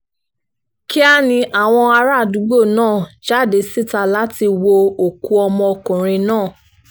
kíá ni àwọn àràádúgbò náà jáde síta láti wọ òkú ọmọkùnrin náà